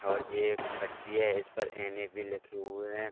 और जे एक पट्टी है इस पर एन.ए.बी. लिखे हुए हैं।